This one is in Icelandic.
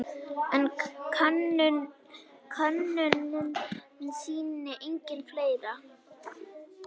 En könnunin sýnir einnig fleira.